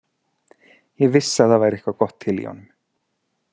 Ég vissi að það væri eitthvað gott til í honum.